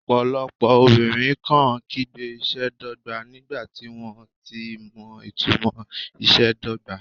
Ọ̀pọ̀lọpọ̀ obìnrin kàn án kígbe ìṣe dọ́gba nígbà tí wọ́n kò tilẹ̀ mọ ìtumò ìṣe dọ́gba.